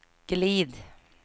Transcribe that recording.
glid